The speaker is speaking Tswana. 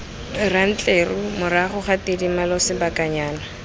rantleru morago ga tidimalo sebakanyana